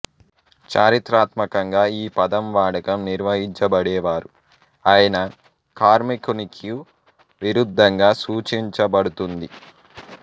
చారిత్రాత్మకంగా ఈ పదం వాడకం నిర్వహించబడేవారు అయిన కార్మికునికు విరుద్దంగా సూచించబడుతుంది